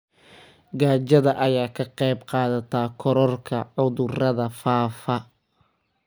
Gaajada ayaa ka qayb qaadata kororka cudurrada faafa.